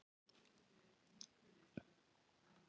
Maturinn kom í stóreflis stykkjum og var mikill að vöxtum og góður.